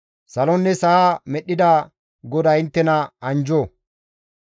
Salonne sa7a medhdhida GODAY inttena anjjo!